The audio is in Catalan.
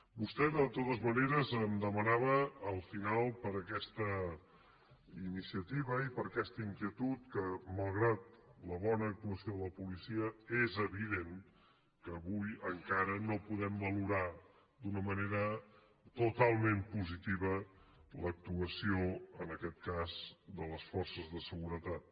vostè de totes maneres em demanava al final per aquesta iniciativa i per aquesta inquietud que malgrat la bona actuació de la policia és evident que avui encara no podem valorar d’una manera totalment positiva l’actuació en aquest cas de les forces de seguretat